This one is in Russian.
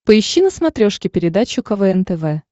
поищи на смотрешке передачу квн тв